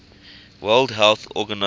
world health organization